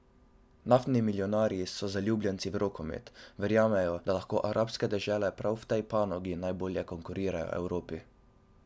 Naftni milijonarji so zaljubljenci v rokomet, verjamejo, da lahko arabske dežele prav v tej panogi najbolje konkurirajo Evropi.